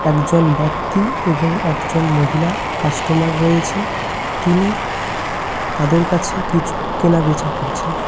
একজন ব্যক্তি এবং একজন মহিলা কাস্টমার রয়েছেন তিনি তাদের কাছে কিছু কেনা বেচা করছেন।